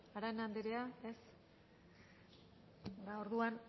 arana andrea ez ba orduan